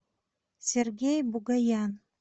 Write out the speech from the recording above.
сергей бугаян